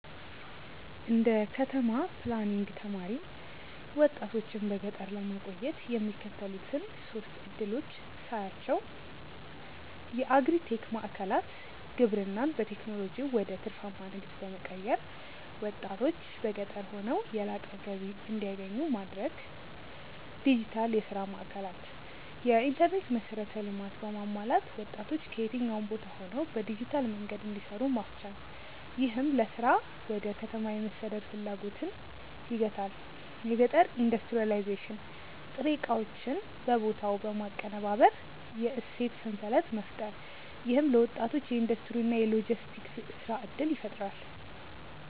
እንደ ከተማ ፕላኒንግ ተማሪ፣ ወጣቶችን በገጠር ለማቆየት የሚከተሉትን ሶስት ዕድሎች ሳያቸው የአግሪ-ቴክ ማዕከላት: ግብርናን በቴክኖሎጂ ወደ ትርፋማ ንግድ በመቀየር፣ ወጣቶች በገጠር ሆነው የላቀ ገቢ እንዲያገኙ ማድረግ። ዲጂታል የሥራ ማዕከላት: የኢንተርኔት መሠረተ ልማት በማሟላት ወጣቶች ከየትኛውም ቦታ ሆነው በዲጂታል መንገድ እንዲሰሩ ማስቻል፣ ይህም ለሥራ ወደ ከተማ የመሰደድ ፍላጎትን ይገታል። የገጠር ኢንዱስትሪያላይዜሽን: ጥሬ ዕቃዎችን በቦታው በማቀነባበር የእሴት ሰንሰለት መፍጠር። ይህም ለወጣቶች የኢንዱስትሪ እና የሎጂስቲክስ የሥራ ዕድል ይፈጥራል።